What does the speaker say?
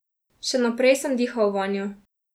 Še naprej sem dihal vanjo.